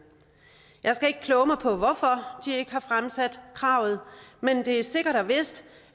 jeg skal ikke kloge mig på hvorfor de ikke har fremsat kravet men det er sikkert og vist